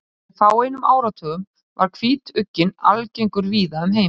Fyrir fáeinum áratugum var hvítugginn algengur víða um heim.